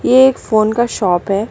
ये एक फोन का शॉप है।